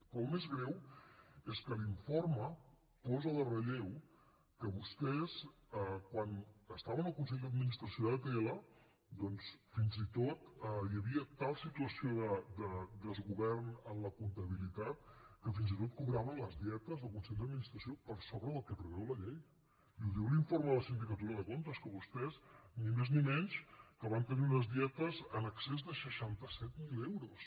però el més greu és que l’informe posa en relleu que vostès quan estaven al consell d’administració d’atll doncs fins i tot hi havia tal situació de desgovern en la comptabilitat que fins i tot cobraven les dietes del consell d’administració per sobre del que preveu la llei i ho diu l’informe de la sindicatura de comptes que vostès ni més ni menys van tenir unes dietes en excés de seixanta set mil euros